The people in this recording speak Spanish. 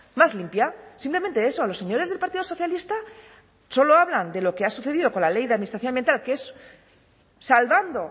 más limpia simplemente eso los señores del partido socialista solo hablan de lo que ha sucedido con la ley de administración ambiental que es salvando